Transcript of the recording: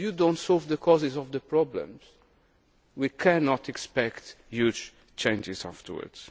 if you do not solve the causes of the problems we cannot expect huge changes afterwards.